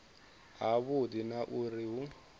ha vhudi na uri hu